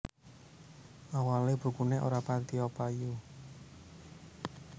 Awalé bukuné ora patiyo payu